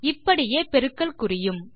இப்படியே பெருக்கல் குறியும்